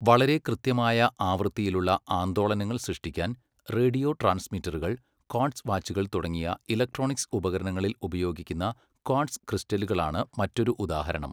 വളരെ കൃത്യമായ ആവൃത്തിയിലുള്ള ആന്ദോളനങ്ങൾ സൃഷ്ടിക്കാൻ റേഡിയോ ട്രാൻസ്മിറ്ററുകൾ, ക്വാർട്സ് വാച്ചുകൾ തുടങ്ങിയ ഇലക്ട്രോണിക്സ് ഉപകരണങ്ങളിൽ ഉപയോഗിക്കുന്ന ക്വാർട്സ് ക്രിസ്റ്റലുകളാണ് മറ്റൊരു ഉദാഹരണം.